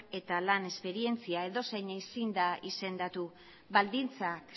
eta lan esperientzia edozein ezin da izendatu baldintzak